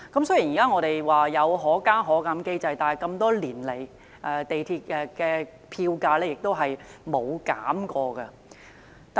雖然我們現在有"可加可減"機制，但多年來，港鐵票價一直沒有減過。